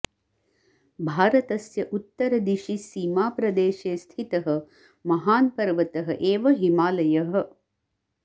भारतस्य उत्तरदिशि सीमाप्रदेशे स्थितः महान् पर्वतः एव हिमालयः